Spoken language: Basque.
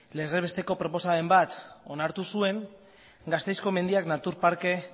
legez besteko proposamen bat onartu zuen gasteizko mendiak natur parke